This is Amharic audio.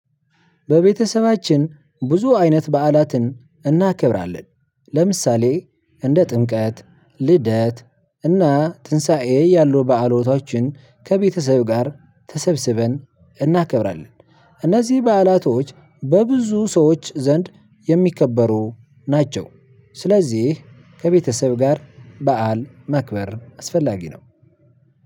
ለቤተሰባችን ብዙ አይነት በዓላትን እናከብራለን ለምሳሌ እንደ ጥምቀት ልደት እና ትንሳኤ ያለው በዓላቶችን ከቤተሰብ ጋር ተሰብስበን እናከብራለን። እነዚህ በዓላቶች በብዙ ሰዎች ዘንድ የሚከበሩ ናቸው። ስለዚህ ከቤተሰብ ጋር በዓል ማክበር አስፈላጊ ነው።